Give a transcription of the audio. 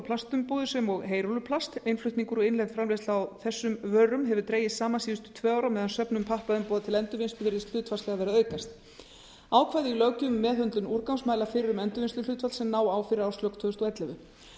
plastumbúðir sem og heyrúlluplast innflutningur og innlend framleiðsla hefur dregist saman síðustu tvo ár á með söfnun pappaumbúða til endurvinnslu virðist hlutfallslega vera að aukast ákvæði í löggjöf um meðhöndlun úrgangs mæla fyrir um endurvinnsluhlutfall sem ná á fyrir árslok tvö þúsund og ellefu